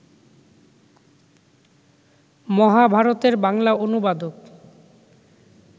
মহাভারতের বাংলা অনুবাদক